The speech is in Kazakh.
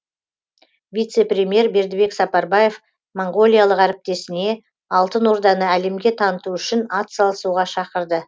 вице премьер бердібек сапарбаев моңғолиялық әріптесіне алтын орданы әлемге таныту үшін ат салысуға шақырды